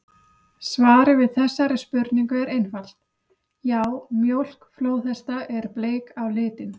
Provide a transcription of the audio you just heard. Svarið við þessari spurningu er einfalt: Já, mjólk flóðhesta er bleik á litinn!